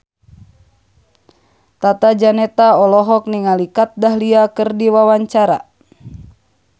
Tata Janeta olohok ningali Kat Dahlia keur diwawancara